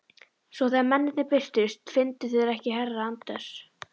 Svo þegar mennirnir birtust fundu þeir ekki herra Anders